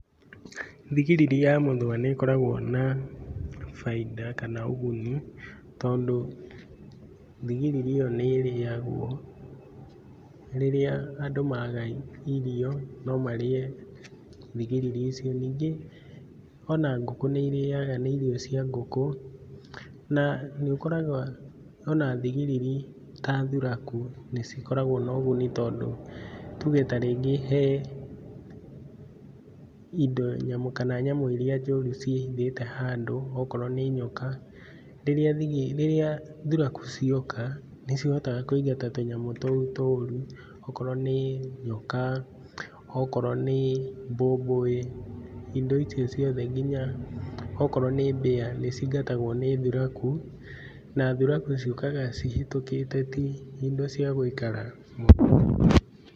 Thigiriri ya mũthũa nĩ ĩkoragwo na, bainda kana ũguni, tondũ, thigiriri ĩyo nĩ ĩrĩagwo, rĩrĩa andũ maga irio no marĩe, thigiriri icio. Ningĩ ona ngũkũ nĩ irĩaga nĩ irio cia ngũkũ, na nĩ ũkoraga ona thigiriri ta thuraku nĩ cikoragwo na ũguni tondũ, tuge ta rĩngĩ he, indo nyamũ kana nyamũ iria njũru ciĩhithĩte handũ okorwo nĩ nyoka. Rĩrĩa thigi thuraku cioka nĩ cihotaga kũingata tũnyamũ tũu tũru okorwo nĩ, nyoka, okorwo nĩ mbũmbũĩ, indo icio ciothe nginya okorwo nĩ mbĩya nĩ cingatagwo nĩ thuraku. Na thuraku ciũkaga cihĩtũkĩte ti indo ciagũikara mũno.